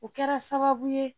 O kɛra sababu ye